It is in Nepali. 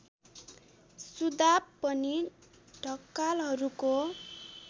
सुदाप पनि ढकालहरूको